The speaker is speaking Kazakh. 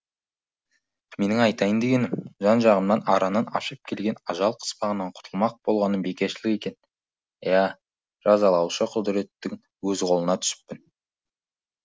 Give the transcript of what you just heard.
менің айтайын дегенім жан жағымнан аранын ашып келген ажал қыспағынан құтылмақ болғаным бекершілік екен иә жазалаушы құдіреттің өз қолына түсіппін